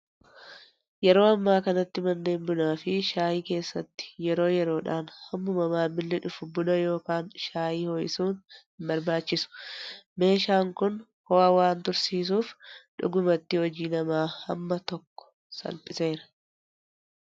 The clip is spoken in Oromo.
Yeroo ammaa kanatti manneen bunaa fi shaayii keessatti yeroo yeroodhaan hammuma maamilli dhufu buna yookaan shaayii ho'isuun hin barbaachisu. Meeshaan kun ho'aa waan tursiisuuf dhugumatti hojii namaa hamma tokko salphiseera.